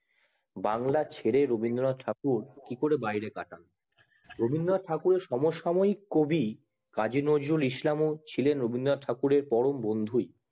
বাংলা ছেড়ে রবীন্দ্রনাথ ঠাকুর কি করে বাংলায় কাটান রবীন্দ্রনাথ ঠাকুর এর সমসাময়িক কবি কাজিনজুরুল ইসলাম ও ছিলেন রবীন্দ্রনাথ ঠাকুর এর পরম বন্ধু